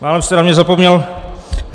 Málem jste na mě zapomněl.